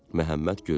Məhəmməd güldü.